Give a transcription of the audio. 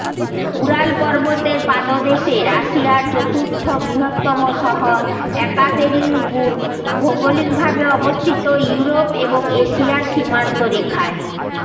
Ural পর্বতের পাদদেশে রাশিয়ার চতুর্থ বৃহত্তম শহর একাতেরিনবুর্গ ভৌগলিকভাবে অবস্থিত ইউরোপ এবং এশিয়ার সীমান্তরেখায়